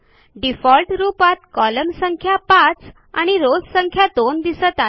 default रूपात column संख्या 5 आणि रॉव्स संख्या 2 दिसत आहे